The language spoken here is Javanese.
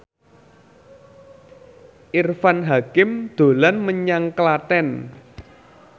Irfan Hakim dolan menyang Klaten